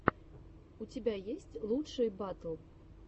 у тебя есть лучшие батл